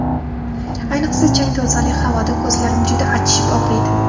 Ayniqsa, chang-to‘zonli havoda ko‘zlarim juda achishib og‘riydi.